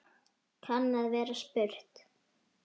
kann að vera spurt.